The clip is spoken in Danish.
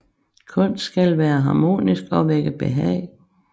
Kunst skal være harmonisk og vække behag